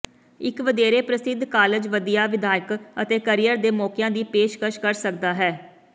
ਇੱਕ ਵਧੇਰੇ ਪ੍ਰਸਿੱਧ ਕਾਲਜ ਵਧੀਆ ਵਿੱਦਿਅਕ ਅਤੇ ਕਰੀਅਰ ਦੇ ਮੌਕਿਆਂ ਦੀ ਪੇਸ਼ਕਸ਼ ਕਰ ਸਕਦਾ ਹੈ